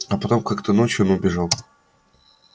а потом как то ночью он убежал